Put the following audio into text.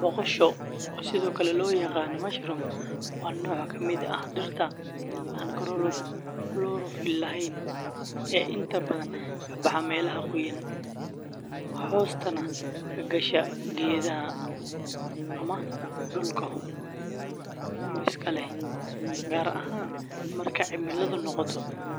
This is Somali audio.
Boqosha, oo sidoo kale loo yaqaan mushroom, waa nooc ka mid ah dhirta aan chlorophyll lahayn ee inta badan ka baxa meelaha qoyan, hoostana ka gasha geedaha ama dhulka humiska leh, gaar ahaan marka cimiladu noqoto